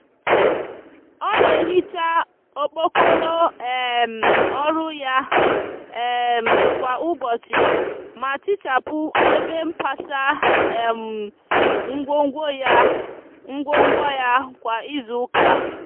o n"ehicha okpokoro um oru ya um kwa ubochi ma tichapu ebe mpasa um ngwogwo ya ngwogwo ya kwa izu uka